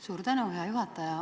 Suur tänu, hea juhataja!